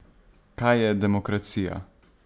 Kaj je demokracija?